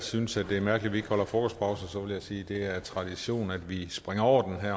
synes det er mærkeligt ikke holder frokostpause vil jeg sige at det er en tradition at vi springer over